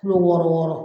Kilo wɔɔrɔ wɔɔrɔ